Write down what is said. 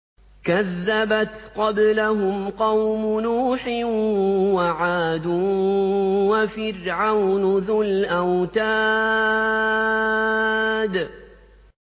كَذَّبَتْ قَبْلَهُمْ قَوْمُ نُوحٍ وَعَادٌ وَفِرْعَوْنُ ذُو الْأَوْتَادِ